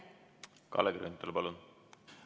Kalle Grünthal, palun!